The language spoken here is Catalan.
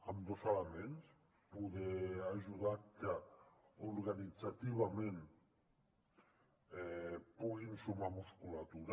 amb dos elements poder ajudar que organitzativament puguin sumar musculatura